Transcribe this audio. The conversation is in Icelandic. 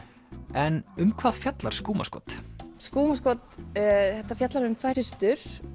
en um hvað fjallar skúmaskot skúmaskot þetta fjallar um tvær systur